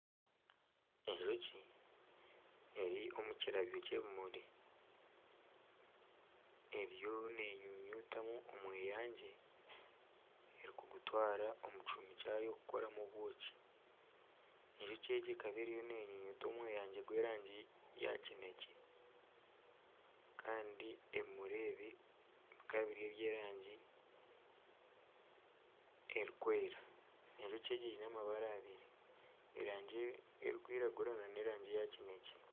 Enjoki eri omu kirabyo ky'ebimuri eriyo neenyunyutamu omweyangye arikugutwara omu kihumi kyayo kukoramu obwoki, enjoki egi eka eriyo neenyunyuta omweyengye gw'erangi ya kineekye kandi ebimuri ebi bikaba biri eby'erangi erikwera, enjoki egi eine amabara abiri erangi erikwirangura nana erangi eya kinekye